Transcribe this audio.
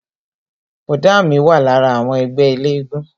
Bọ̀dá mi wà lára àwọn ẹgbẹ́ elégún